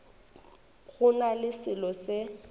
go na le selo se